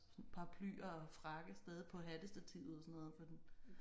Sådan paraply og frakke stadig på hattestativet og sådan noget på den